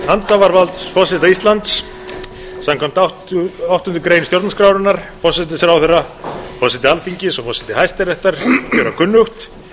hanhafavalds forseta íslands samkvæmt áttundu grein stjórnarskrárinnar forsætisráðherra forseti alþingis og forseti hæstaréttar gjöra kunnugt vér